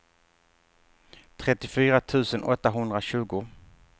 trettiofyra tusen åttahundratjugo